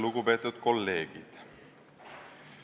Lugupeetud kolleegid!